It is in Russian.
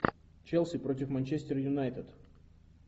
челси против манчестер юнайтед